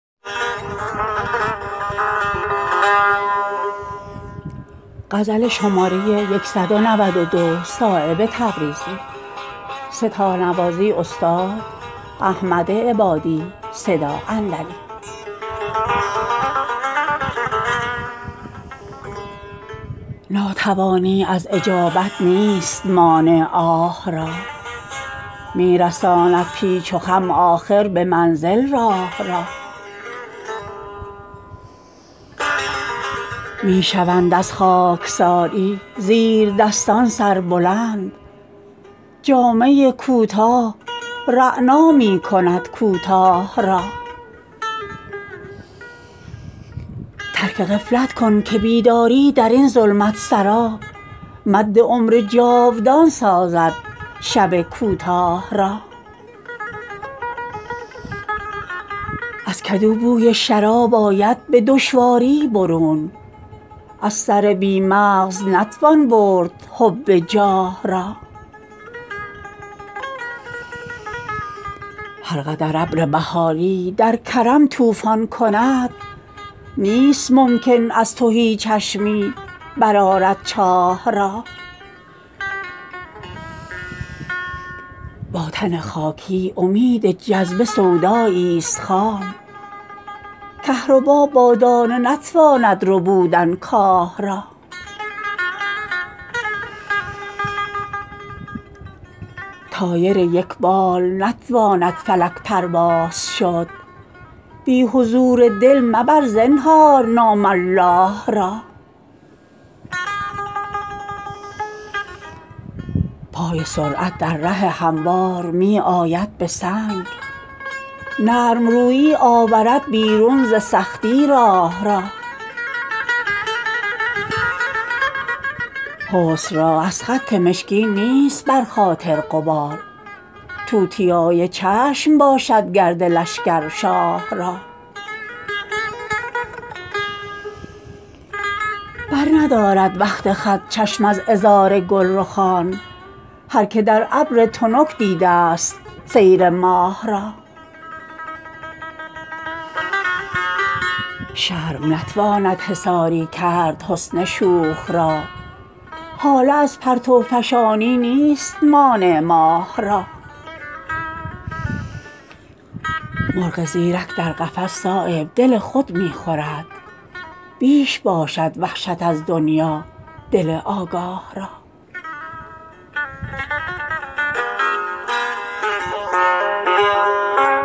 ناتوانی از اجابت نیست مانع آه را می رساند پیچ و خم آخر به منزل راه را می شوند از خاکساری زیردستان سربلند جامه کوتاه رعنا می کند کوتاه را ترک غفلت کن که بیداری درین ظلمت سرا مد عمر جاودان سازد شب کوتاه را از کدو بوی شراب آید به دشواری برون از سر بی مغز نتوان برد حب جاه را هر قدر ابر بهاری در کرم طوفان کند نیست ممکن از تهی چشمی برآرد چاه را با تن خاکی امید جذبه سودایی ست خام کهربا با دانه نتواند ربودن کاه را طایر یک بال نتواند فلک پرواز شد بی حضور دل مبر زنهار نام الله را پای سرعت در ره هموار می آید به سنگ نرم رویی آورد بیرون ز سختی راه را حسن را از خط مشکین نیست بر خاطر غبار توتیای چشم باشد گرد لشکر شاه را برندارد وقت خط چشم از عذار گلرخان هر که در ابر تنک دیدست سیر ماه را شرم نتواند حصاری کرد حسن شوخ را هاله از پرتوفشانی نیست مانع ماه را مرغ زیرک در قفس صایب دل خود می خورد بیش باشد وحشت از دنیا دل آگاه را